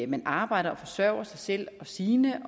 man arbejder og forsørger sig selv og sine